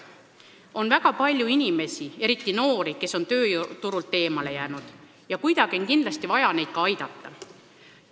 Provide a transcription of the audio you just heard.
On väga palju inimesi, eriti noori, kes on tööjõuturult eemale jäänud, ja neid on kindlasti vaja kuidagi aidata.